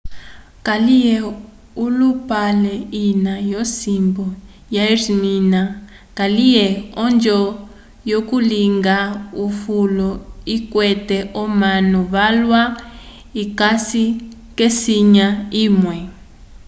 kaliye olupale ina yo simbu ya esmirna kaliye onjo yo kulinga ufulo ikwete omanu valwa ikasi kesinya imwe